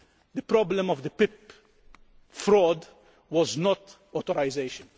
The problem of the PIP fraud was not authorisation.